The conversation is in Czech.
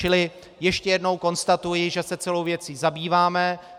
Čili ještě jednou konstatuji, že se celou věcí zabýváme.